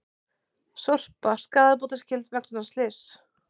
Sorpa skaðabótaskyld vegna slyss